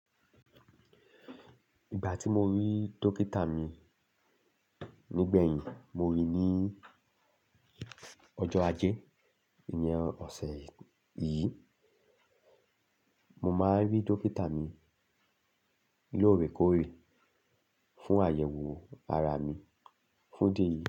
Ìgbà tí mo rí dókítà mi nígbẹ̀yìn, mo rí i ní ọjọ́ ajé ìyen ọ̀sẹ̀ yìí. Mo máa n rí dókítà mi lóorekóòre fún àyẹ̀wò ara mi fún idí eyi.